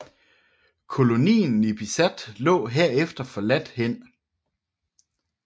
Kolonien Nipisat lå herefter forladt hen